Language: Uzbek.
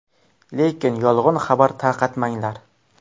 Lekin yolg‘on xabar tarqatmanglar.